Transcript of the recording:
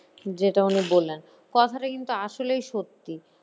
যেটা উনি বললেন কথাটা কিন্তু আসলেই সত্যি